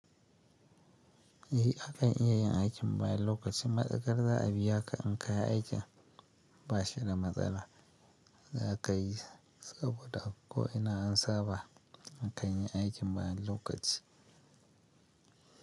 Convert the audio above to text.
Eh akan iya yin aikin bayan lokaci. Matsakar za a biya ka in ka yi aikin ba shi da matsala. Za ka yi saboda ko ina an saba a kanyi aikin bayan lokaci.